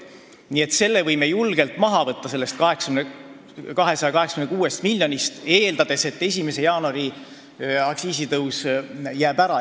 Nii et selle summa võime julgelt sellest 286 miljonist maha võtta, eeldades, et 1. jaanuari aktsiisitõus jääb ära.